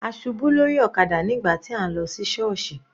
A ṣubú lórí ọ̀kadà nígbà tí à ń lọ sí sọọsi.